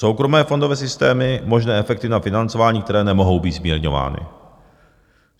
Soukromé fondové systémy - možné efekty na financování, které nemohou být zmírňovány.